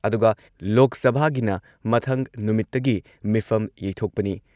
ꯑꯗꯨꯒ ꯂꯣꯛ ꯁꯚꯥꯒꯤꯅ ꯃꯊꯪ ꯅꯨꯃꯤꯠꯇꯒꯤ ꯃꯤꯐꯝ ꯌꯩꯊꯣꯛꯄꯅꯤ ꯫